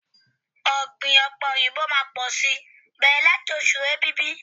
Ọ̀gbìn ọ̀pẹ̀ òyìnbó máá pọ̀ si bẹ̀rẹ̀ láti ọ̀ṣù Èbìbí.